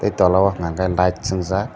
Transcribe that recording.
towla o hingkha hingke light singjak.